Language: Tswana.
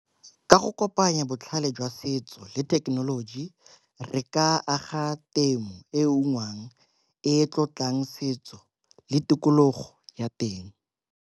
Ka go kopanya botlhale jwa setso le thekenoloji re ka aga temo e ungwang e tlotlang setso le tikologo ya teng.